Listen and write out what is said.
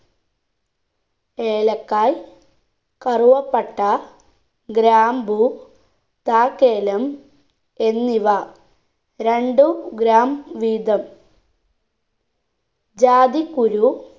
ഏലക്കായ് കറുവപ്പട്ട ഗ്രാമ്പൂ താക്കേലം എന്നിവ രണ്ടു gram വീതം ജാതിക്കുരു